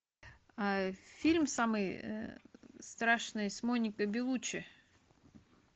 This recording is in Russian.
фильм самый страшный с моникой беллуччи